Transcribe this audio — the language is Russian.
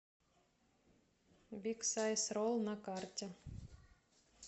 биг сайз ролл на карте